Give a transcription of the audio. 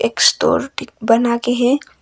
Store ठीक बना के है।